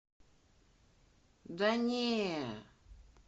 да не